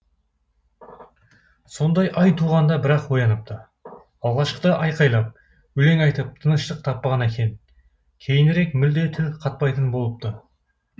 сондай ай туғанда бір ақ ояныпты алғашқыда айқайлап өлең айтып тыныштық таппаған екен кейінірек мүлде тіл қатпайтын болыпты